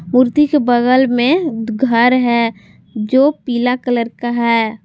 मूर्ति के बगल में घर है जो पीला कलर का है।